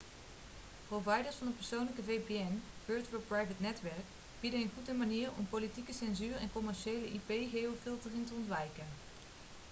providers van een persoonlijke vpn virtual private netwerk bieden een goede manier om politieke censuur en commerciële ip-geofiltering te ontwijken